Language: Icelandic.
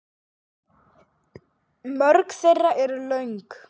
Mörg þeirra eru löng.